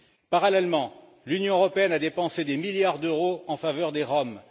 Parallèlement, l'Union européenne a dépensé des milliards d'euros en faveur des Roms.